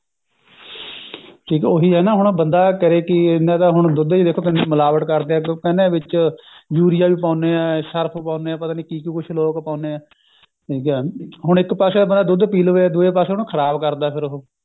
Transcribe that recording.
ਠੀਕ ਹੈ ਉਹੀ ਹੈਂ ਨਾ ਹੁਣ ਬੰਦਾ ਕਰੇ ਕਿ ਇਹਨਾਂ ਤਾਂ ਹੁਣ ਤੁਸੀਂ ਦੇਖੋ ਦੁੱਧ ਤੁਸੀਂ ਮਿਲਾਵਟ ਕਰਦੇ ਹੈ ਇਹਨਾਂ ਵਿੱਚ ਯੂਰੀਆ ਵੀ ਪਾਉਣੇ ਹਾਂ ਸ਼ਰਫ ਪਾਉਣੇ ਹਾਂ ਤੇ ਕਿ ਕਿ ਕੁੱਛ ਲੋਕ ਪਾਉਣੇ ਐ ਠੀਕ ਹੈ ਹੁਣ ਇੱਕ ਪਾਸੇ ਤਾਂ ਆਪਣਾ ਦੁੱਧ ਪੀ ਲਵੇ ਤੇ ਦੂਏ ਪਾਸੇ ਉਹਨੂੰ ਖ਼ਰਾਬ ਕਰਦਾ ਫੇਰ ਉਹ